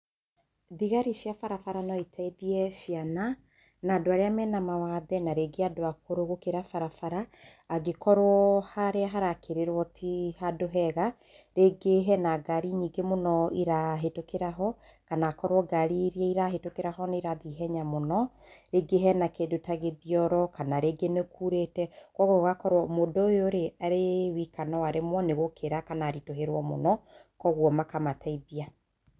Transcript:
Thigari cia barabara no iteithie ciana na andũ arĩa mena mawathe na rĩngĩ andũ akũrũ gũkĩra barabara, angĩkorwo harĩa harakĩrĩrwo ti handũ hega. Rĩngĩ hena ngari nyingĩ mũno irahĩtũkĩra ho, kana akorwo ngari iria irahĩtũkĩra ho nĩ irathi ihenya mũno. Rĩngĩ hena kĩndũ ta gĩthioro, kana rĩngĩ nĩ kuurĩte, kwoguo gũgakorwo mũndũ ũyũ rĩ, arĩ wika no aremwo nĩ gũkĩra kana aritũhĩrwo mũno, kwoguo makamateithia.